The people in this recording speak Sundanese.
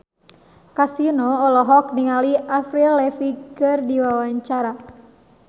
Kasino olohok ningali Avril Lavigne keur diwawancara